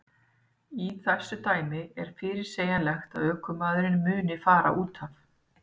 Í þessu dæmi er fyrirsegjanlegt að ökumaðurinn muni fara útaf.